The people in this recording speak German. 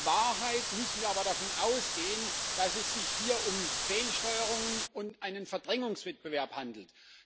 In Wahrheit müssen wir aber davon ausgehen, dass es sich hier um Fehlsteuerungen und einen Verdrängungswettbewerb handelt.